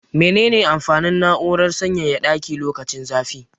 Mene ne amfanin na'urar sanyaya ɗaki lokacin zafi?